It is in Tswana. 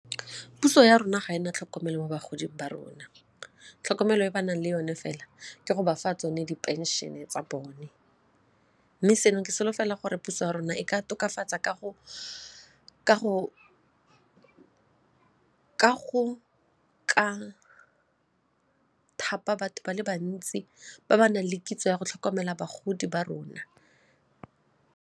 Puso ya rona ga e na tlhokomelo mo bagoding ba rona tlhokomelo e ba nang le yone fela ke go bafa tsone di phenšene tsa bone mme seno ke solofela gore puso ya rona e ka tokafatsa ka go ka thapa batho ba le bantsi ba ba nang le kitso ya go tlhokomela bagodi ba rona.